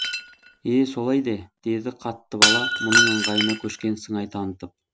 е е солай де деді қаттыбала мұның ыңғайына көшкен сыңай танытып